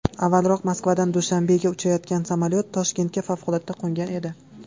Avvalroq Moskvadan Dushanbega uchayotgan samolyot Toshkentga favqulodda qo‘ngan edi .